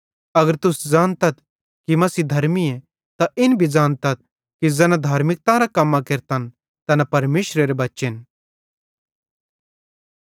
अगर तुस ज़ानतथ कि मसीह धर्मीए त इन भी ज़ानतथ कि ज़ैना धार्मिकतारां कम्मां केरतन तैना परमेशरेरे बच्चेन